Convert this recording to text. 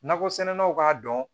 Nakɔsɛnɛlaw k'a dɔn